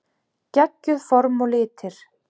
Geggjuð form og litir.